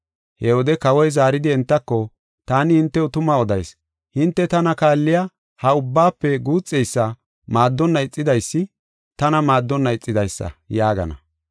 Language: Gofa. “He wode kawoy zaaridi entako, ‘Taani hintew tuma odayis; hinte tana kaalliya ha ubbaafe guuxeysa maaddonna ixidaysi, tana maaddonna ixidaysa’ yaagana.